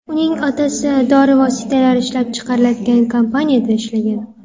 Uning otasi dori vositalari ishlab chiqariladigan kompaniyada ishlagan.